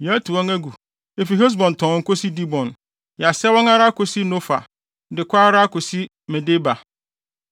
“Yɛatu wɔn agu, efi Hesbon tɔnn kosi Dibon. Yɛasɛe wɔn ara akosi Nofa De kɔ ara kosi Medeba.”